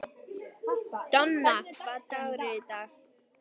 Donna, hvaða dagur er í dag?